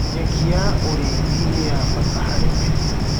Nyekĩ ya ũrĩĩthĩ nĩyabata harĩ mahĩũ